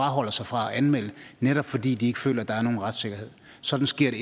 afholder sig fra at anmelde netop fordi de ikke føler at der er nogen retssikkerhed sådan sker det